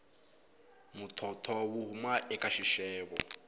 muthotho wu huma eka xixevo